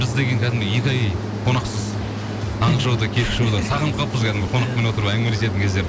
біз деген кәдімгі екі ай қонақсыз таңғы шоуда кешкі шоуда сағынып қалыппыз кәдімгі қонақпен отырып әңгімелестін кездерді